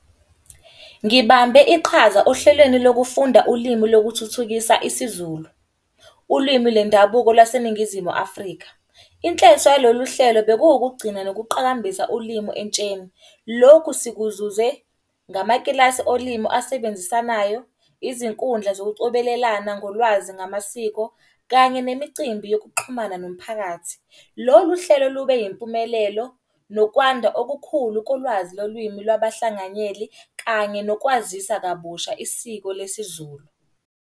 Ngibambe iqhaza ohlelweni lokufunda ulimu lokuthuthukisa isiZulu, ulwimi lwendabuko laseNingizimu Afrika. Inhleso yalolu hlelo bekuwukugcina nokuqakambisa ulimi entsheni. Lokhu sikuzuze ngamakilasi olimu asebenzisanayo, izinkundla zokucobelelana ngolwazi ngamasiko. Kanye nemicimbi yokuxhumana nomphakathi. Lolu hlelo lube yimpumelelo nokwanda okukhulu kulwazi lolwimi lwabahlanganyeli kanye nokwazisa kabusha isiko lesiZulu.